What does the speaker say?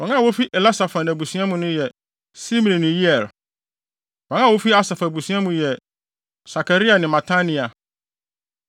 Wɔn a wofi Elisafan abusua mu yɛ: Simri ne Yeiel. Wɔn a wofi Asaf abusua mu yɛ: Sakaria ne Matania.